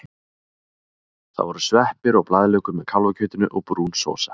Það voru sveppir og blaðlaukur með kálfakjötinu og brún sósa.